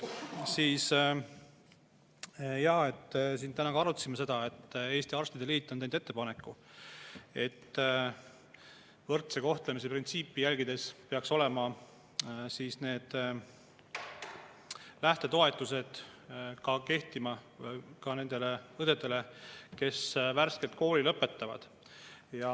Jaa, täna ka arutasime seda, et Eesti Arstide Liit on teinud ettepaneku, et võrdse kohtlemise printsiipi järgides peaksid lähtetoetust ka need õed, kes on värskelt kooli lõpetanud.